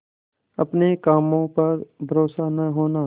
अपने काम पर भरोसा न होना